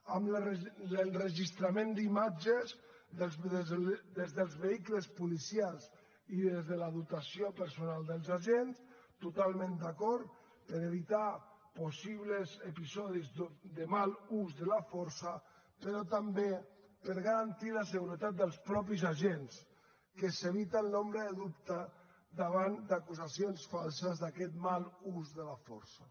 amb l’enregistrament d’imatges des dels vehicles policials i des de la dotació personal dels agents totalment d’acord per evitar possibles episodis de mal ús de la força però també per garantir la seguretat dels mateixos agents que s’evita l’ombra de dubte davant d’acusacions falses d’aquest mal ús de la força